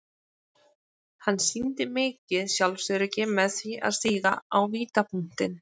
Hann sýndi mikið sjálfsöryggi með því að stíga á vítapunktinn.